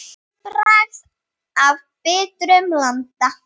Það hefur ágerst.